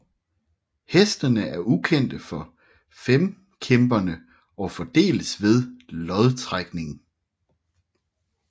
Hestene er ukendte for femkæmperne og fordeles ved lodtrækning